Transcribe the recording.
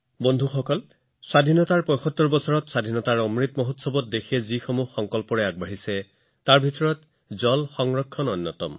বন্ধুসকল স্বাধীনতাৰ ৭৫ তম বৰ্ষত স্বাধীনতাৰ অমৃত মহোৎসৱত দেশখন আগবাঢ়ি যোৱাৰ সংকল্পসমূহৰ ভিতৰত পানী সংৰক্ষণ হৈছে আন এক সংকল্প